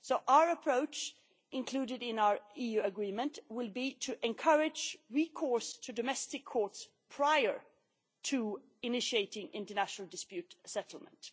Our approach, included in our EU Agreement, will be to encourage recourse to domestic courts prior to initiating international dispute settlement.